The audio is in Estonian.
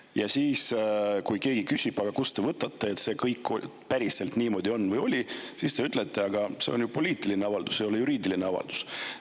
Ja kui keegi küsib, aga kust te võtate, et see kõik päriselt niimoodi on või oli, siis te ütlete: aga see on ju poliitiline avaldus, see ei ole juriidiline avaldus.